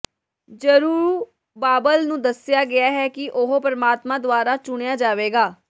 Zerubbabel ਨੂੰ ਦੱਸਿਆ ਗਿਆ ਹੈ ਕਿ ਉਹ ਪਰਮਾਤਮਾ ਦੁਆਰਾ ਚੁਣਿਆ ਜਾਵੇਗਾ